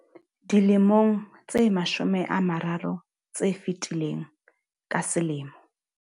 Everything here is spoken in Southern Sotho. Dilemong tse mashome a mararo tse fetileng, ka selemo.